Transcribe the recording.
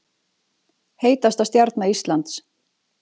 Heitasta stjarna Íslands